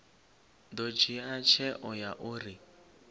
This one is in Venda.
ḓo dzhia tsheo ya uri